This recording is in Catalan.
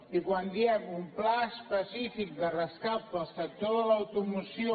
i quan diem un pla específic de rescat per al sector de l’automoció